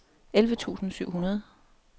elleve tusind syv hundrede